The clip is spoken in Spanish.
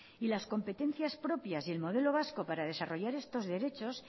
y las competencias propias y el modelo vasco para desarrollar estos derechos